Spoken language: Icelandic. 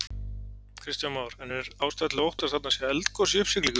Kristján Már: En er ástæða til að óttast að þarna sé eldgos í uppsiglingu?